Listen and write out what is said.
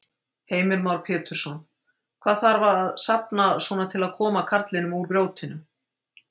Heimir Már Pétursson: Hvað þarf að safna svona til að koma karlinum úr grjótinu?